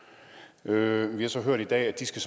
nu i vi har så hørt i dag at de skal